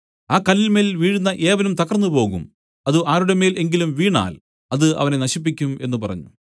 ആ കല്ലിന്മേൽ വീഴുന്ന ഏവനും തകർന്നുപോകും അത് ആരുടെമേൽ എങ്കിലും വീണാൽ അത് അവനെ നശിപ്പിക്കും എന്നു പറഞ്ഞു